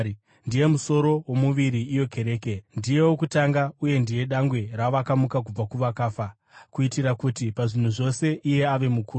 Ndiye musoro womuviri, iyo kereke; ndiye wokutanga uye ndiye dangwe ravakamuka kubva kuvakafa, kuitira kuti pazvinhu zvose iye ave mukuru.